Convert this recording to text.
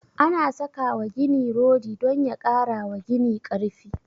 Ana saka wa gini rodi don ya kara wa gini karfi